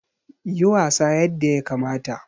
Yi wasa yadda yakamata!